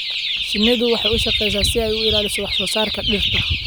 Shinnidu waxay u shaqeysaa si ay u ilaaliso wax soo saarka dhirta.